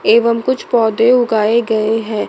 एवं कुछ पौधे उगाए गए हैं।